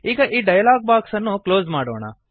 ಈಗ ಈ dialog box ಅನ್ನು ಕ್ಲೋಸ್ ಮಾಡೋಣ